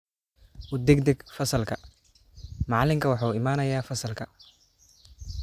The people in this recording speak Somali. U degdeg fasalka, macalinku waxa uu imanayaa fasalka